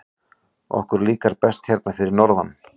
Okkur líkar best hérna fyrir norðan.